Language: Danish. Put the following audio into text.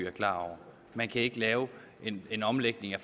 er klar over man kan ikke lave en omlægning af